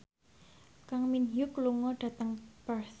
Kang Min Hyuk lunga dhateng Perth